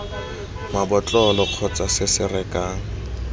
mabotlolong kgotsa se se rekang